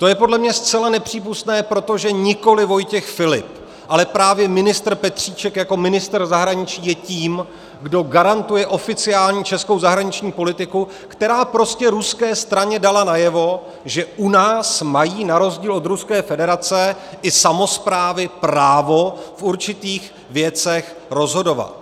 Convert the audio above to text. To je podle mě zcela nepřípustné, protože nikoli Vojtěch Filip, ale právě ministr Petříček, jako ministr zahraničí je tím, kdo garantuje oficiální českou zahraniční politiku, která prostě ruské straně dala najevo, že u nás mají na rozdíl od Ruské federace i samosprávy právo v určitých věcech rozhodovat.